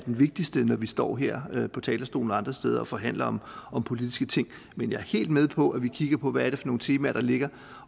vigtigste når vi står her på talerstolen og andre steder og forhandler om politiske ting men jeg er helt med på at vi kigger på hvad det er for nogle temaer der ligger